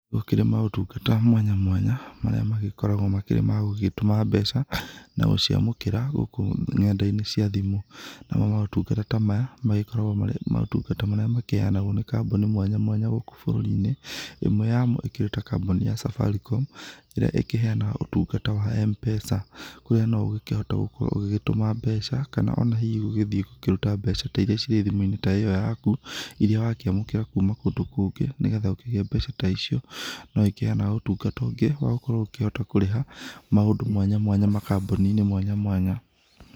Gũkĩrĩ maũtungata mwanya mwanya marĩa magĩkoragwo makĩrĩ magũgĩtũma mbeca na gũciamũkĩra gũkũ nenda-inĩ cia thimũ. Namo maũtungata ta maya makoragwo makĩrĩ maũtungata marĩa makĩheanagwo nĩ kambuni mwanya mwanya gũkũ bũrũri-inĩ, ĩmwe yamo ĩkĩrĩ ta kambuni ya Safaricom ĩrĩa ĩkĩheanaga ũtungata wa M-Pesa. Kũrĩa no ũkĩhote gũkorwo ũgĩgĩtũma mbeca kana ona hihi ũgĩthiĩ gũkĩrutra mbeca ta iria cirĩ thimũ-inĩ ta ĩyo yakũ. Iria wakĩamũkĩra kuma kũndũ kũngĩ, nĩgetha ũkĩgĩe mbeca ta ico. No ĩkiheanaga ũtungata ũngĩ wa gũkorwo ũkĩhota gũkĩrĩha maũndũ mwanya mwanya, makambuni-inĩ mwanya mwanya.